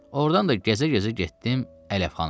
Ordan da gəzə-gəzə getdim əlləfxanaya.